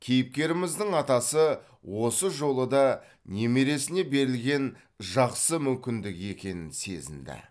кейіпкеріміздің атасы осы жолы да немересіне берілген жақсы мүмкіндік екенін сезінді